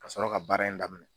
Ka sɔrɔ ka baara in daminɛ